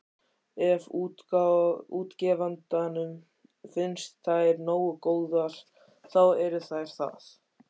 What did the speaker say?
Ef útgefandanum finnst þær nógu góðar, þá eru þær það.